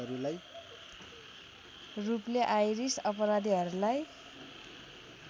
रूपले आइरिस अपराधीहरूलाई